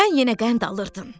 Sən yenə qənd alırdın.